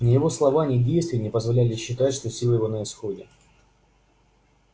ни его слова ни действия не позволяли считать что силы его на исходе